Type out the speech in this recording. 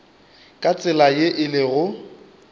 ka tsela ye e lego